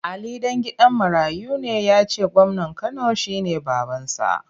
Ali ɗan gidan marayu ne ya ce gwamnan Kano shi ne babansa.